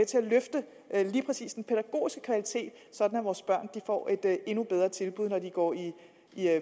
til at løfte lige præcis den pædagogiske kvalitet sådan at vores børn får et endnu bedre tilbud når de går i